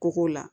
Ko k'o la